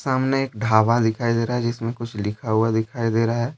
सामने एक ढाबा दिखाई दे रहा है जिसमें कुछ लिखा हुआ दिखाई दे रहा है।